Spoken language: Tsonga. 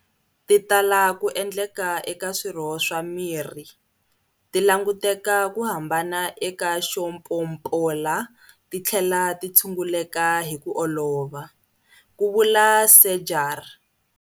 Ti tala ku endleka eka swirho swa miri, ti languteka ku hambana eka xo pompola ti tlhela ti tshunguleka hi ku olova, ku vula Seegers.